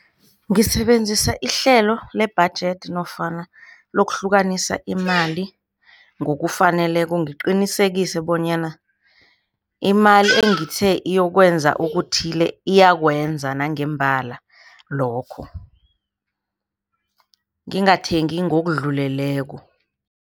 Ngisebenzisa ihlelo lebhajethi nofana lokuhlukanisa imali ngokufaneleko. Ngiqinisekise bonyana imali engithe iyokwenza okuthile, iyakwenza nangembala lokho, ngingathengi ngokudluleleko.